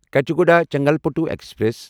Kachiguda Chengalpattu express